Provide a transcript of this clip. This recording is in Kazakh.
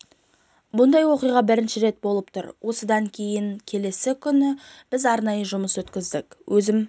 бұндай оқиға бірінші рет болып тұр осы оқиғадан кейін келесі күні біз арнайы жұмыс өткіздік өзім